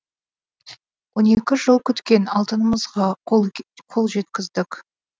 он екі жыл күткен алтынымызға қол жеткіздік